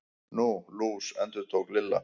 Nú, lús. endurtók Lilla.